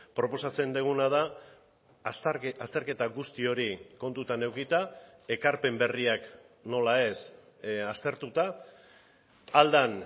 proposatzen duguna da azterketa guzti hori kontutan edukita ekarpen berriak nola ez aztertuta ahal den